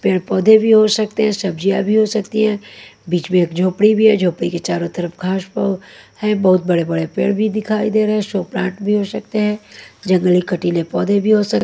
पेड़-पौधे भी हो सकते हैं सब्जियाँ भी हो सकती हैं बीच में एक झोपड़ी भी है झोपड़ी के चारों तरफ घाश है बहुत बड़े-बड़े पेड़ भी दिखाई दे रहे हैं शो प्लांट भी हो सकते हैं जंगली-कटीले पौधे भी हो सक--